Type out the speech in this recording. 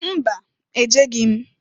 Mba! Ejeghi m.